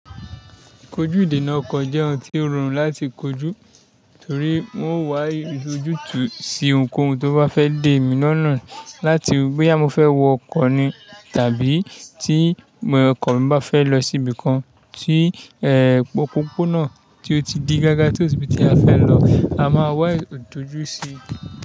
Kojú ìdènà ọkọ̀ jẹ́ ohun tí ó rọrùn láti kojú torí wọn ó wá ojútùú sí ohunkóhun tó bá fẹ́ dé èmi lọ́nà láti bóyá fẹ́ wọ ọkọ̀ ni tàbí tí ọkọ̀ mi bá fẹ́ lọ síbi kan tí ẹ̀ òpópónà tí ó ti di gágá tí ò sí ibi tí a fẹ́ lọ, a máa wá ìdojú sí.